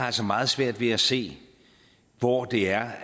altså meget svært ved at se hvor det er